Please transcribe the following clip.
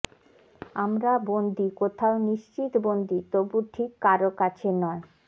আমরা বন্দী কোথঅও নিশ্চিত বন্দী তবু ঠিক কারো কাছে নয়